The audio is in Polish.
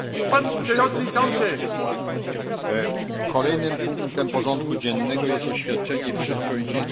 Kolejnym punktem porządku dziennego jest oświadczenie Wiceprzewodniczącej Komisji Wysokiej Przedstawiciel Unii Europejskiej ds.